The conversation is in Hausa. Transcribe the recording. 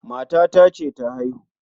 matata ce ta haihu